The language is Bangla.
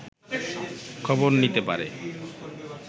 খবর নিতে পারে